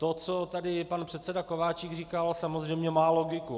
To, co tady pan předseda Kováčik říkal, samozřejmě má logiku.